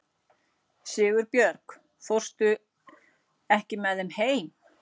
Sigurbjörg, ekki fórstu með þeim?